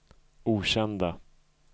okända